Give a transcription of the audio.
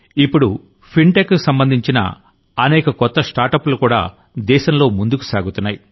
ఇప్పుడు ఫిన్టెక్కి సంబంధించిన అనేక కొత్త స్టార్టప్లు కూడా దేశంలో ముందుకు సాగుతున్నాయి